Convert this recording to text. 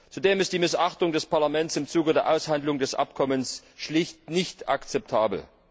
Zudem ist die Missachtung des Parlaments im Zuge der Aushandlung des Abkommens schlicht nicht akzeptabel.